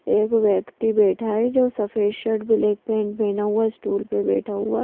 एक व्यक्ति बैठा है जो सफेद शर्ट ब्लैक पैंट पहना हुआ स्टूल पर बैठा हुआ ।